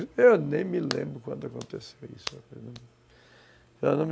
Eu nem me lembro quando aconteceu isso.